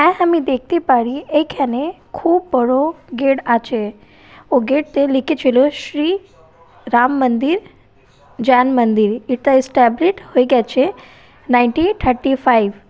আর আমি দেখতে পারি এইখানে খুব বড় গেট আচে ও গেট এ লিখেচিল শ্রী রাম মান্দির যান মান্দির এটা এস্ট্যাব্লিস হয়ে গেছে নাইনটিন থারটি ফাইভ